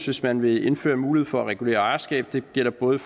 hvis man vil indføre en mulighed for at regulere ejerskab det gælder både